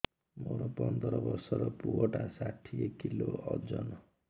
ମୋର ପନ୍ଦର ଵର୍ଷର ପୁଅ ଟା ଷାଠିଏ କିଲୋ ଅଜନ